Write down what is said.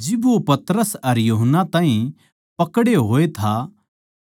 जिब वो पतरस अर यूहन्ना ताहीं पकड़े होए था